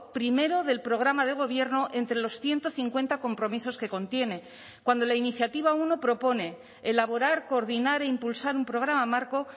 primero del programa de gobierno entre los ciento cincuenta compromisos que contiene cuando la iniciativa uno propone elaborar coordinar e impulsar un programa marco